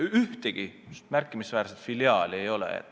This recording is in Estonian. Ühtegi märkimisväärset filiaali ei ole.